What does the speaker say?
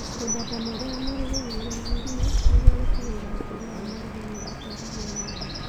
Mĩthemba mĩerũ ya marigũ nĩ ĩrehetwo nĩguo gũtigĩrĩra ũkũria wa marigũ nĩũrathwarithio na mbere